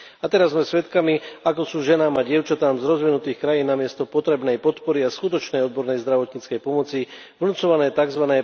A teraz sme svedkami, ako sú ženám a dievčatám z rozvinutých krajín namiesto potrebnej podpory a skutočnej odbornej zdravotníckej pomoci vnucované tzv.